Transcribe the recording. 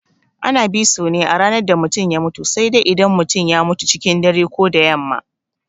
Ana biso ne a ranar da mutum ya mutu sai dai idan ya mutum cikin dare ko da yamma.